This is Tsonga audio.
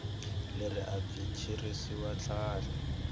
leri a byi tirhisiwi handle